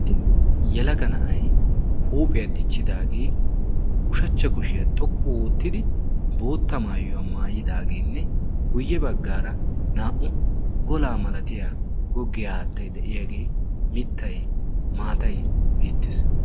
Yelaga na'ay huuphiyaa dichchidaagee ushachcha kushiyaa xoqqu oottidi bootta maayuwaa maayidaageenne guyye baggaara naa'u golaa malatiya goggiyaa aattai de'iyaagee mittaynne maatay beettees.